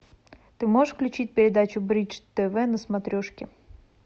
ты можешь включить передачу бридж тв на смотрешке